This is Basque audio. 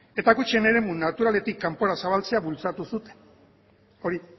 eta gutxien eremu naturaletik kanpora zabaltzea bultzatu zuten hori